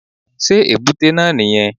Sé èbúté náà nì yẹn